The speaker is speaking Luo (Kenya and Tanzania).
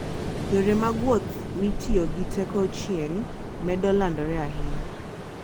Yore mag wuoth mitiyo gi teko chieng' medo landore ahinya.